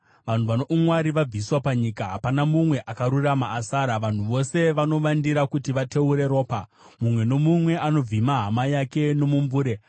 Vanhu vano umwari vabviswa panyika; hapana mumwe akarurama asara. Vanhu vose vanovandira kuti vateure ropa; mumwe nomumwe anovhima hama yake nomumbure.